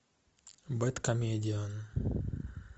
бэд комедиан